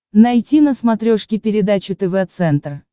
найти на смотрешке передачу тв центр